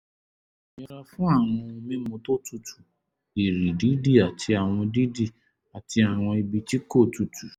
yẹra fún àwọn ohun mímu tó tutù ìrì dídì àti àwọn dídì àti àwọn ibi tí kò tutù